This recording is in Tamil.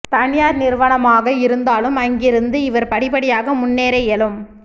தனியார் நிறுவனமாக இருந்தாலும் அங்கிருந்து இவர் படிப்படியாக முன்னேற இயலும்